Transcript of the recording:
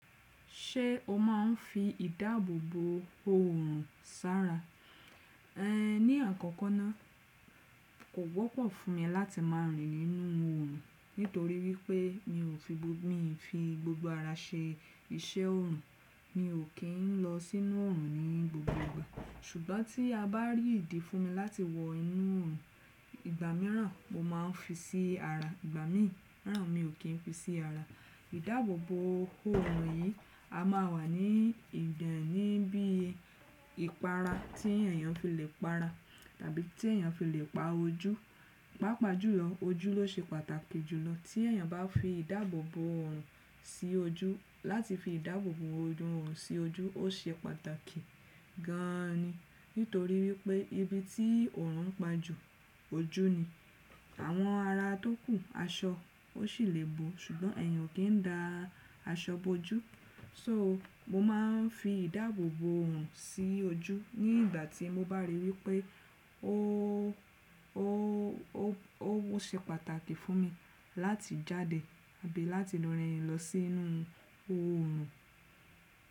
Ṣé o máa ń fi ìdáàbòbò òòrùn sára? Ehn, ní àkọ́kọ́ náà kò wọ́pọ̀ fún mi láti máa rìn nínú òòrùn nítorí wípé mi ò fi gbogbo mi fi gbogbo ara ṣe iṣẹ́ òòrùn. Mi ò kín lọ sínú òòrùn ní gbogbo ìgbà, ṣùgbọ́n tí a bá rí ìdí fún mi láti wọ inú òòrùn, ìgbà mìíràn mo máa ń fi sí ara, ìgbà mìíràn mi ò kín fi sí ara. Ìdáàbòbò òòrùn yìí a máa wà ní ìdání bí ìpara tí èèyàn fi lè para tàbí tí èèyàn fi lè pa ojú. Pápàjùlọ́ ojú ló ṣe pàtàkì jùlọ. Tí èèyàn bá fi ìdáàbòbò òòrùn sí ojú, láti fi ìdáàbòbò òòrùn sí ojú ó ṣe pàtàkì gan ni, nítorí wípé ibi tí òòrùn ń pa jù ojú ni. Àwọn ara tókù, aṣọ ó sì lè bo, ṣùgbọ́n èèyàn kì í da aṣọ bo ojú. So mo máa ń fi ìdáàbòbò òòrùn sí ojú ní ìgbà tí mo bá rí wípé ó, ó, ó, ó ṣe pàtàkì fún mi láti jáde àbí láti lọ rìn lọ sí inú oòrùn.